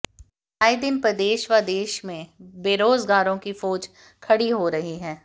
आए दिन प्रदेश व देश में बेरोजगारों की फौज खड़ी हो रही है